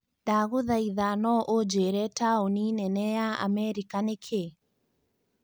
ndagũthaitha no ũjĩire taũni Nene ya Amerika nĩ kĩĩ